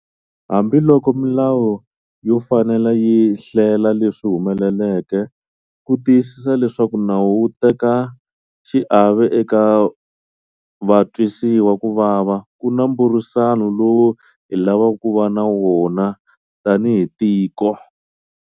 Hambiloko milawu yo fanela yi hlela leswi humeleleke ku tiyisisa leswaku nawu wu teka xiave eka vatwisiwa ku vava, ku na mbhurisano lowu hi lavaka ku va na wona tanihi tiko.